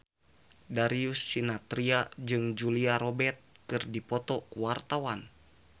Darius Sinathrya jeung Julia Robert keur dipoto ku wartawan